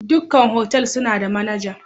Duka otal suna da managa.